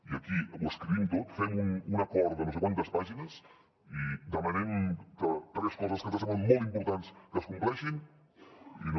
i aquí ho escrivim tot fem un acord de no sé quantes pàgines i demanem que tres coses que ens semblen molt importants es compleixin i no